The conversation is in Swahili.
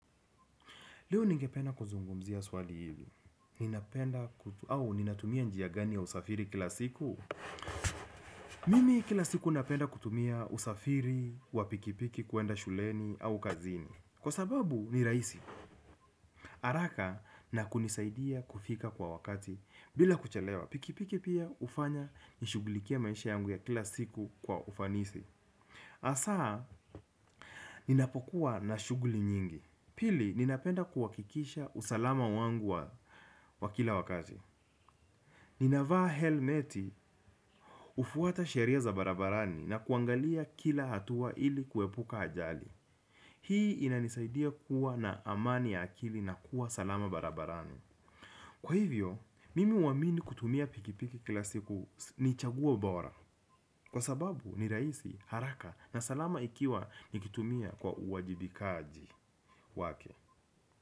Leo ningependa kuzungumzia swali hivi. Ninapenda kutumia, au ninatumia njia gani ya usafiri kila siku. Mimi kila siku napenda kutumia usafiri wa pikipiki kwenda shuleni au kazini. Kwa sababu ni rahisi. Haraka na kunisaidia kufika kwa wakati bila kuchelewa. Pikipiki pia ufanya nishughulikia maisha yangu ya kila siku kwa ufanisi. Hasaa, ninapokuwa na shughuli nyingi. Pili, ninapenda kuhakikisha usalama wangu wa kila wakati. Ninavaa helmeti kufuata sheria za barabarani na kuangalia kila hatua ili kuwepuka ajali. Hii inanisaidia kuwa na amani ya akili na kuwa salama barabarani. Kwa hivyo, mimi huamini kutumia pikipiki kila siku ni chaguo bora. Kwa sababu, ni rahisi haraka na salama ikiwa nikitumia kwa uwajibikaji wake.